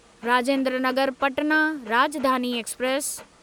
Rajendra Nagar Patna Rajdhani express